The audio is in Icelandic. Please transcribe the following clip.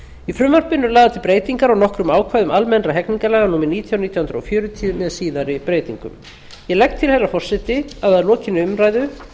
í frumvarpinu eru lagðar til breytingar á nokkrum ákvæðum almennra hegningarlaga númer nítján nítján hundruð fjörutíu með síðari breytingum ég legg til herra forseti að lokinni umræðu